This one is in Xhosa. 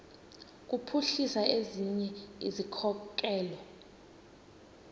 kuphuhlisa ezinye izikhokelo